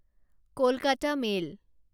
Kolkata mail